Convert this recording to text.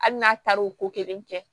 Hali n'a taar'o ko kelen kɛ